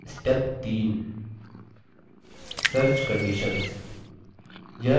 step 3search conditions